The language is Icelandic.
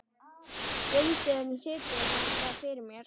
Stundum situr það fyrir mér.